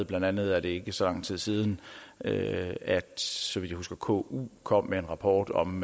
blandt andet er det ikke så lang tid siden at at så vidt jeg husker ku kom med en rapport om